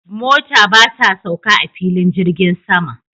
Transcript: Mota ba ta sauka a filin jirgin sama